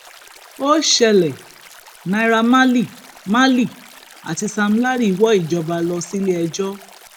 ó ṣẹlẹ náírà marley marley àti sam larry wọ ìjọba lọ síléiléẹjọ